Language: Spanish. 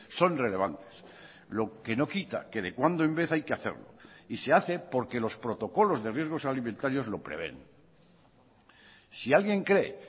son relevantes lo que no quita que de cuando en vez hay que hacerlo y se hace porque los protocolos de riesgos alimentarios lo prevén si alguien cree